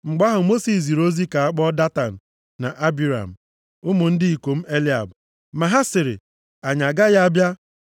Mgbe ahụ, Mosis ziri ozi ka a kpọọ Datan na Abiram, ụmụ ndị ikom Eliab, ma ha sịrị, “Anyị agaghị abịa.